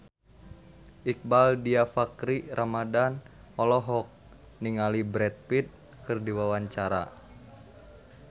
Iqbaal Dhiafakhri Ramadhan olohok ningali Brad Pitt keur diwawancara